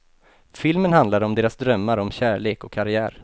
Filmen handlar om deras drömmar om kärlek och karriär.